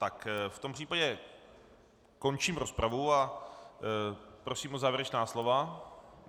Tak v tom případě končím rozpravu a prosím o závěrečná slova.